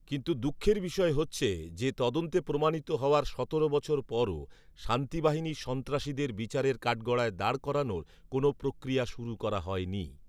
কিন্তু দুঃখের বিষয় হচ্ছে যে, তদন্তে প্রমাণিত হওয়ার সতেরো বছর পরেও শান্তিবাহিনীর সন্ত্রাসীদের বিচারের কাঠগড়ায় দাঁড় করানোর কোন প্রক্রিয়া শুরু করা হয়নি